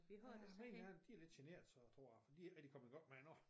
Ja mine er de lidt generte så tror jeg for de ikke rigtig kommet i gang med det endnu